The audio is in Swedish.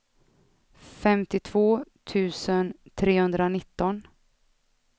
femtiotvå tusen trehundranitton